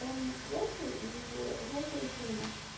там стрелки и жёлтые тени